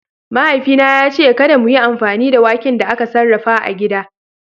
Mahaifina ya ce kada mu yi amfani da waken da aka sarrafa a gida.